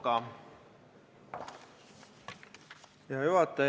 Hea juhataja!